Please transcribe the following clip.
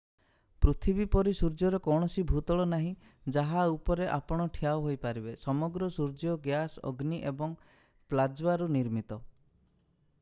ପୃଥିବୀ ପରି ସୂର୍ଯ୍ୟର କୌଣସି ଭୂତଳ ନାହିଁ ଯାହା ଉପରେ ଆପଣ ଠିଆ ହୋଇପାରିବେ ସମଗ୍ର ସୂର୍ଯ୍ୟ ଗ୍ୟାସ ଅଗ୍ନି ଏବଂ ପ୍ଲାଜ୍ମାରୁ ନିର୍ମିତ